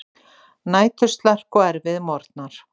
Næturslark og erfiðir morgnar.